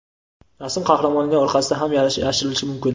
rasm qahramonining orqasida ham yashirilishi mumkin.